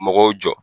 Mɔgɔw jɔ